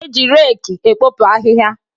E ji reki ekpopu ahịhịa.